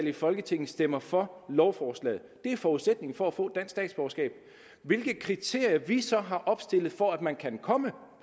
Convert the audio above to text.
i folketinget stemmer for lovforslaget det er forudsætningen for at få dansk statsborgerskab hvilke kriterier vi så har opstillet for at man kan komme